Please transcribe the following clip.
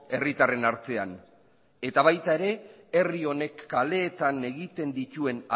herritarren artean eta baita herri honek kaleetan egiten dituen